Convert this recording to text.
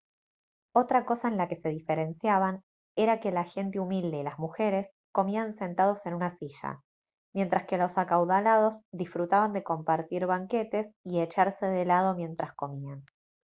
otra cosa en la que se diferenciaban era que la gente humilde y las mujeres comían sentados en una silla mientras que los acaudalados disfrutaban de compartir banquetes y echarse de lado mientras comían